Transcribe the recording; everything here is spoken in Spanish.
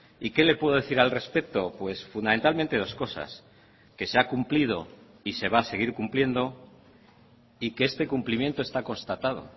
y qué le puedo decir al respecto pues fundamentalmente dos cosas que se ha cumplido y se va a seguir cumpliendo y que este cumplimiento está constatado